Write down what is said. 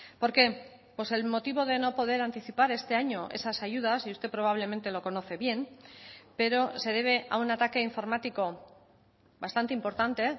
por qué pues el motivo de no poder anticipar este año esas ayudas y usted probablemente lo conoce bien pero se debe a un ataque informático bastante importante